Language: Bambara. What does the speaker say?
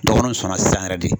Dɔgɔninw sɔnna sisan yɛrɛ de.